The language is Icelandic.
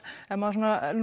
ef maður